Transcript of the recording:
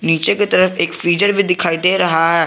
नीचे की तरफ एक फ्रीजर भी दिखाई दे रहा है।